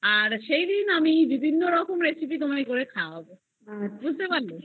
আর সেইদিন আমি বিভিন্ন রকম recipe করে তোমায় খাওয়াবো বুঝতে পারছো